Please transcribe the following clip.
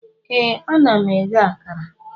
Ee, ana m eghe akara